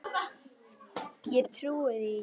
Ég trúi því ekki,